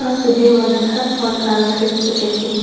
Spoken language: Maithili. अहां के जे मन हेत हर समान एकरा मे खरीद सके छीये।